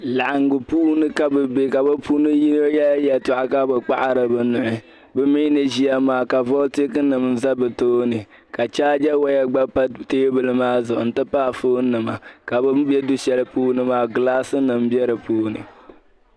Laɣiŋgu puuni ka bɛ be ka bɛ puuni yino yɛli yɛltɔɣa ka bɛ kpahiri bɛ nuhi. Bɛ mi ni ʒia maa ka volitikinima za bɛ tooni ka chaaga waya gba pa teebuli maa zuɣu nti pahi foonnima ka bɛ ni be du' shɛli puuni maa gilaasinima be di puuni.